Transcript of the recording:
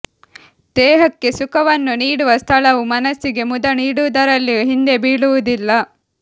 ದೇಹಕ್ಕೆ ಸುಖವನ್ನು ನೀಡುವ ಸ್ಥಳವು ಮನಸ್ಸಿಗೆ ಮುದ ನೀಡುವುದರಲ್ಲಿಯೂ ಹಿಂದೆ ಬೀಳುವುದಿಲ್ಲ